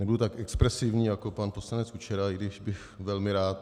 Nebudu tak expresivní jako pan poslanec Kučera, i když bych velmi rád.